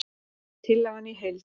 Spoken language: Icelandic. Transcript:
Tillagan í heild